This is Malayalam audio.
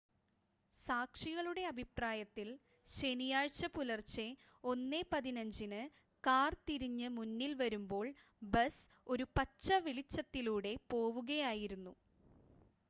സാക്ഷികളുടെ അഭിപ്രായത്തിൽ ശനിയാഴ്ച പുലർച്ചെ 1 15 ന് കാർ തിരിഞ്ഞ് മുന്നിൽ വരുമ്പോൾ ബസ് ഒരു പച്ച വെളിച്ചത്തിലൂടെ പോവുകയായിരുന്നു